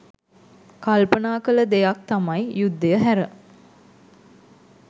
කල්පනා කළ දෙයක් තමයි යුද්ධය හැර